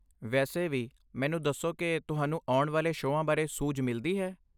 ਵੈਸੇ ਵੀ, ਮੈਨੂੰ ਦੱਸੋ, ਕੀ ਤੁਹਾਨੂੰ ਆਉਣ ਵਾਲੇ ਸ਼ੋਆਂ ਬਾਰੇ ਸੂਝ ਮਿਲਦੀ ਹੈ?